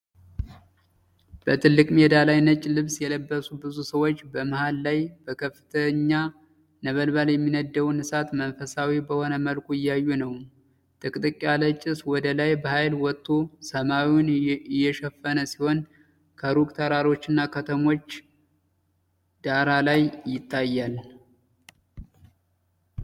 በትልቅ ሜዳ ላይ ነጭ ልብስ የለበሱ ብዙ ሰዎች በመሃል ላይ በከፍተኛ ነበልባል የሚነድደውን እሳት መንፈሳዊ በሆነ መልኩ እያዩ ነው፡፡ ጥቅጥቅ ያለ ጭስ ወደ ላይ በኃይል ወጥቶ ሰማዩን የሸፈነ ሲሆን፣ ከሩቅ ተራሮችና ከተሞች ዳራ ላይ ይታያል።